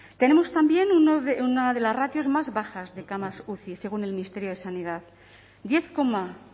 tenemos también una de las ratios más bajas de camas uci según el ministerio de sanidad diez coma